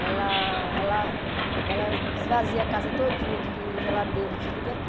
Ela ela ela esvazia a casa todinha, desliga a geladeira, desliga tu